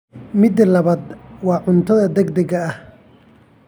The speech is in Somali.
Midda labaad waa cunto degdeg ah.